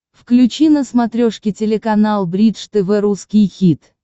включи на смотрешке телеканал бридж тв русский хит